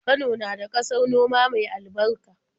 Kano na da ƙasar noma mai albarka.